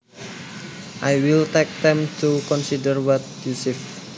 I will take time to consider what you said